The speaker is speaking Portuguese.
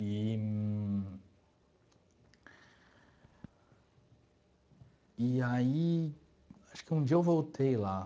Eee e aí, acho que um dia eu voltei lá.